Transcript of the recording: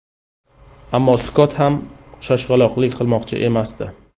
Ammo Skott ham shoshqaloqlik qilmoqchi emasdi.